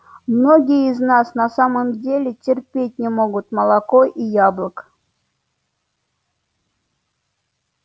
многие из нас на самом деле терпеть не могут молока и яблок